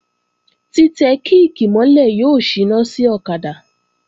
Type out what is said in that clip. Tí tẹ kíìkì mọ́ lẹ̀ yóò síná sí ọ̀kadà